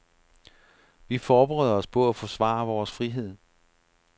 Vi forbereder os på at forsvare vores frihed.